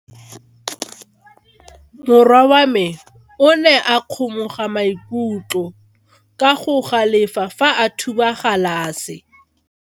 Morwa wa me o ne a kgomoga maikutlo ka go galefa fa a thuba galase.